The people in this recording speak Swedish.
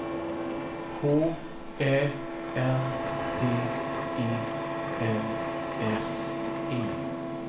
H Ä N D E L S E